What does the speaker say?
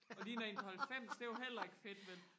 og ligner en på halvfems det er jo heller ikke fedt vel